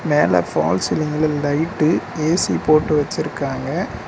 மேல ஃபால் சீலிங்ல light A C போட்டு வச்சுருக்காங்க.